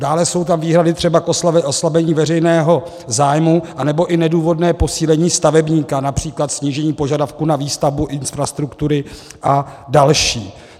Dále jsou tam výhrady třeba k oslabení veřejného zájmu nebo i nedůvodné posílení stavebníka, například snížení požadavků na výstavbu infrastruktury a další.